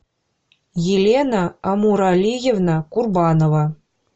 елена амуралиевна курбанова